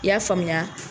I y'a faamuya